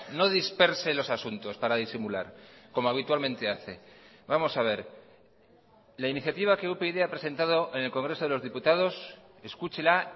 no disperse los asuntos para disimular como habitualmente hace vamos a ver la iniciativa que upyd ha presentado en el congreso de los diputados escúchela